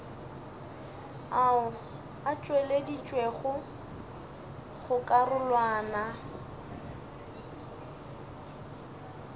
ao a tšweleditšwego go karolwana